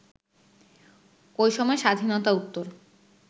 ওই সময় স্বাধীনতা-উত্তর